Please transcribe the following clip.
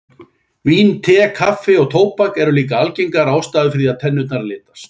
Vín, te, kaffi og tóbak eru líka algengar ástæður fyrir því að tennurnar litast.